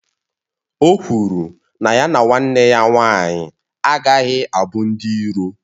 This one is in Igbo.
O kwụrụ na ya na nwanne ya nwanyị agaghị abụ ndị iro